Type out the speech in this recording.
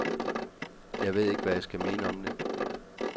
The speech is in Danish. Jeg ved ikke, hvad jeg skal mene om det.